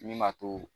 Min b'a to